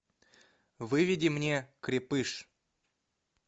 выведи мне крепыш